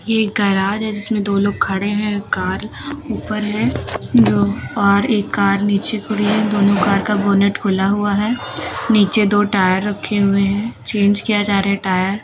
एक गेराज है जिसमें दो लोग खड़े हैं कार ऊपर है दो और एक कार नीचे खड़ी है दोनों कार का बोनेट खुला हुआ है नीचे दो टायर रखे हुए हैं चेंज किया जा रहा है टायर ।